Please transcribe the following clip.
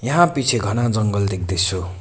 यहाँ पिछे घना जंगल देख्दैछु।